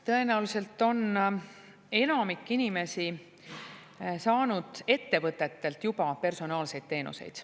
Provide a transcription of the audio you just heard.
Tõenäoliselt on enamik inimesi saanud ettevõtetelt juba personaalseid teenuseid.